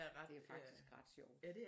Det er faktisk ret sjovt